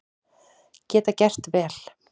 Geta gert vel